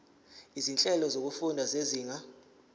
izinhlelo zokufunda zezinga